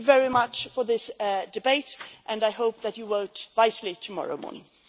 Thank you very much for this debate, and I hope that you vote wisely tomorrow morning.